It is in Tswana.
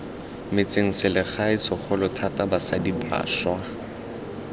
metsengselegae segolo thata basadi bašwa